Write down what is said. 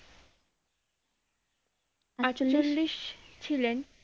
ছিলেন